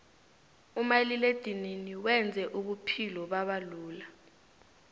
umaliledinini wenze ubuphulo babalula